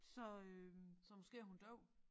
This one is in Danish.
Så øh så måske er hun døv